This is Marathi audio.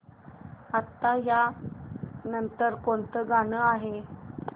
आता या नंतर कोणतं गाणं आहे